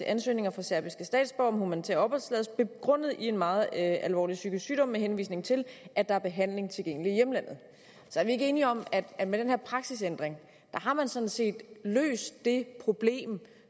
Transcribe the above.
ansøgninger fra serbiske statsborgere om humanitær opholdstilladelse begrundet i meget alvorlig psykisk sygdom med henvisning til at der er behandling tilgængelig i hjemlandet så er vi ikke enige om at med den her praksisændring har man sådan set løst det problem